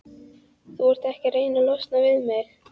Þú ert ekki að reyna að losna við mig?